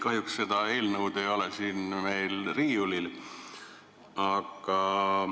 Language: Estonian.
Kahjuks seda eelnõu meil siin riiulis ei ole.